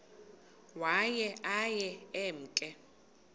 waye aye emke